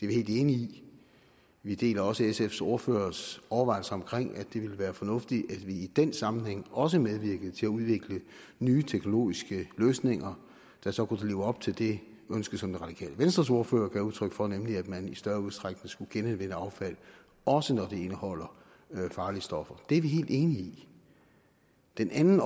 vi helt enige i vi deler også sfs ordførers overvejelser om at det ville være fornuftigt at vi i den sammenhæng også medvirkede til at udvikle nye teknologiske løsninger der så kunne leve op til det ønske som det radikale venstres ordfører gav udtryk for nemlig at man i større udstrækning skulle genanvende affald også når det indeholder farlige stoffer det er vi helt enige i den anden